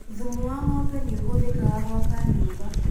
Thumu wa ng'ombe ni ũhũthikaga gwaka nyũmba.